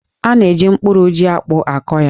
A na-eji mkporo jí-akpụ akọ ya